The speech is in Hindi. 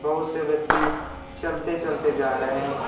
बहुत से व्यक्ति चलते चलते जा रहे हैं।